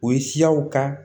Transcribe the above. O ye siyaw ka